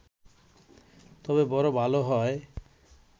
তবে বড় ভালো হয়